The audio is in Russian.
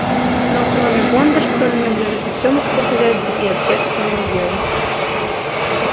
но кроме бондарства на нём лежит и всё мужское хозяйство и общественное дело